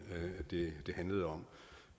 det handlede om